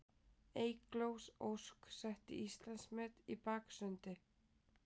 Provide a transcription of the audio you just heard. Eygló Ósk setti Íslandsmet í baksundi